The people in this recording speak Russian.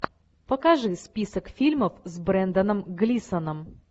покажи список фильмов с бренданом глисоном